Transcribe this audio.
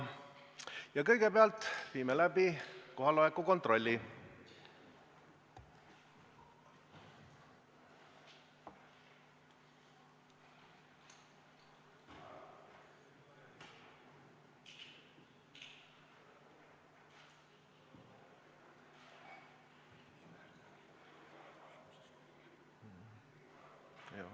Ja kõigepealt viime läbi kohaloleku kontrolli!